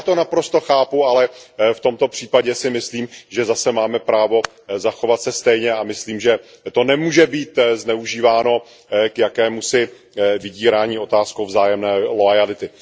Já to naprosto chápu, ale v tomto případě si myslím, že zase máme právo zachovat se stejně, a myslím, že to nemůže být zneužíváno k jakémusi vydírání otázkou vzájemné loajality.